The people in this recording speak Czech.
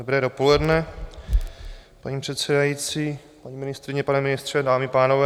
Dobré dopoledne, paní předsedající, paní ministryně, pane ministře, dámy a pánové.